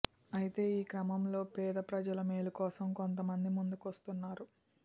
అయితే ఈ క్రమంలోనే పేద ప్రజల మేలు కోసం కొంత మంది ముందుకొస్తున్నారు